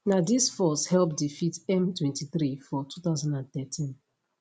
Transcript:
na dis force help defeat m23 for 2013